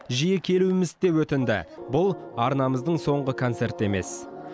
жиі келуімізді де өтінді бұл арнамыздың соңғы концерті емес